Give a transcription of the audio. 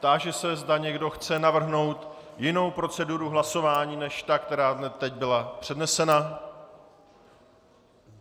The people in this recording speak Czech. Táži se, zda někdo chce navrhnout jinou proceduru hlasování, než ta, která teď byla přednesena.